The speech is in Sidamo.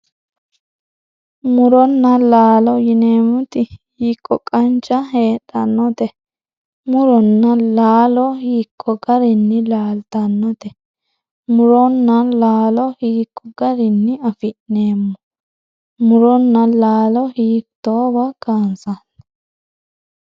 Murona laalo yinemoti hiiko qancha hedhanote murona laalo hiiko garini laaltanote murona laalo hiiko garini afineemo murona laalo hiitowa kansani.